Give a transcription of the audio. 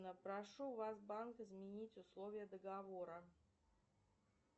прошу вас банк изменить условия договора